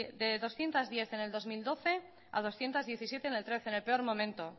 de doscientos diez en el dos mil doce a doscientos diecisiete en el dos mil trece en el peor momento